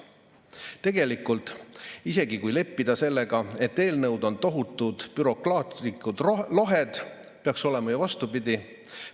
Tegelikult, isegi kui leppida sellega, et eelnõud on tohutud bürokraatlikud lohed, peaks olema ju vastupidi.